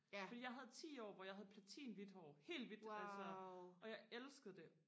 fordi jeg havde ti år hvor jeg havde platin hvidt hår helt hvidt altså og jeg elskede det